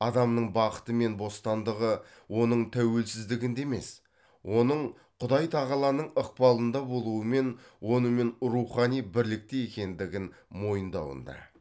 адамның бақыты мен бостандығы оның тәуелсіздігінде емес оның құдай тағаланың ықпалында болуы мен онымен рухани бірлікте екендігін мойындауында